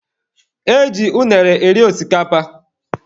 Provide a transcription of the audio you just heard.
E ji unere eri osikapa.